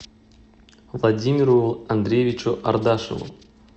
владимиру андреевичу ардашеву